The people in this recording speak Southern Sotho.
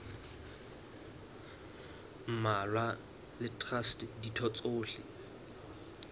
mmalwa le traste ditho tsohle